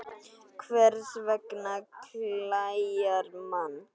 Hvers vegna klæjar mann?